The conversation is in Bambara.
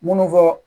Munnu fɔ